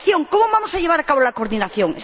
¿Cómo vamos a llevar a cabo la coordinación?